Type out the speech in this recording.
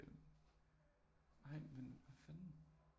Ej men hvad fanden